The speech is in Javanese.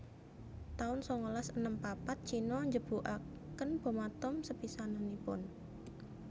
taun sangalas enem papat Cino njebugaken bom atom sepisanannipun